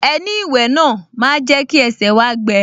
Ẹní ìwẹ̀ náà máa jẹ́ kí ẹsẹ̀ wá gbẹ